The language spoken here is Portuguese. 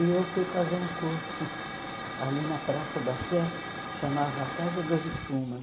E eu fui fazer um curso ali na Praça da Sé, chamava Casa das Espumas.